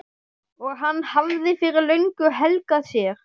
og hann hafði fyrir löngu helgað sér.